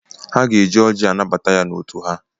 Ha ga-eji ọjị anabata ya n'otu ha.